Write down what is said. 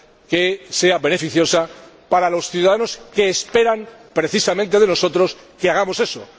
que sea beneficiosa para los ciudadanos, que esperan precisamente de nosotros que hagamos eso.